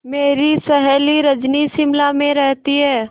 मेरी सहेली रजनी शिमला में रहती है